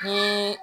Ni